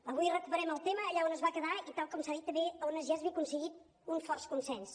avui recuperem el tema allà on es va quedar i tal com s’ha dit també on ja s’havia aconseguit un fort consens